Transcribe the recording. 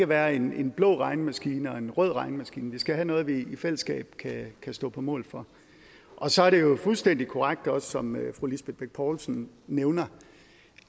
være en blå regnemaskine og en rød regnemaskine vi skal have noget vi i fællesskab kan stå på mål for og så er det jo også fuldstændig korrekt som fru lisbeth bech poulsen nævner